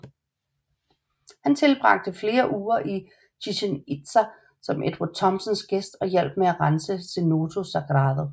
Han tilbragte flere uger i Chichen Itza som Edward Thompsons gæst og hjalp med at rense Cenote Sagrado